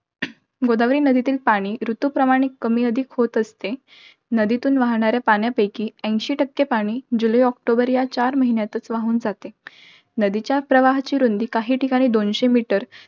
गोदावरी नदीतील पाणी ऋतूनुसार कमीअधिक होत असते. नदीतून वाहणाऱ्या पाण्यापैकी, ऐंशी टक्के पाणी जुलै ऑक्टोबर या चार महिन्यांतच वाहून जाते. नदीच्या प्रवाहाची रुंदी काही ठिकाणी दोनशे meter